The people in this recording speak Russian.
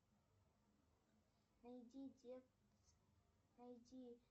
найдите найди